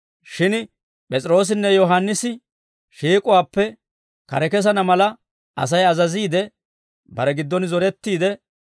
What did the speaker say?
Shin P'es'iroossinne Yohaannisi shiik'uwaappe kare kesana mala Asay azaziide, bare giddon zorettiide,